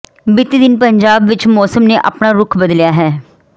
ਬੀਤੀ ਦਿਨ ਪੰਜਾਬ ਦੇ ਵਿਚ ਮੌਸਮ ਨੇ ਆਪਣਾ ਰੁਖ ਬਦਲਿਆ ਹੈ